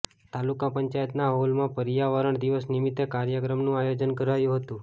તાલુકા પંચાયતના હોલમાં પર્યાવરણ દિવસ નિમિત્તે કાર્યક્રમનું આયોજન કરાયું હતું